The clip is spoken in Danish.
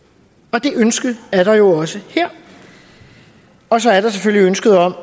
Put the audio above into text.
og det ønske er der jo også her og så er der selvfølgelig ønsket om at